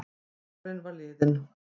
Dagurinn var liðinn.